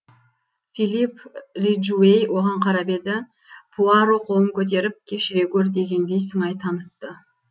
филип риджуэй оған қарап еді пуаро қолын көтеріп кешіре гөр дегендей сыңай танытты